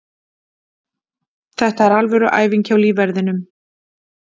Þetta er alvöru æfing hjá lífverðinum.